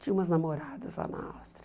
Tinha umas namoradas lá na Áustria.